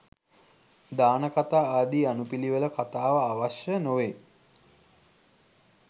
දානකථා ආදී අනුපිළිවෙල කතාව අවශ්‍ය නොවෙයි.